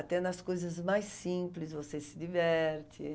Até nas coisas mais simples você se diverte.